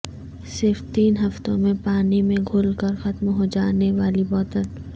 صرف تین ہفتوں میں پانی میں گھل کر ختم ہوجانے والی بوتل